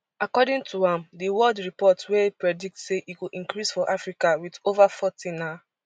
according to am di world report wey predict say e go increase for africa wit ova forty na